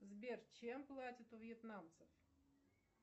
сбер чем платят у вьетнамцев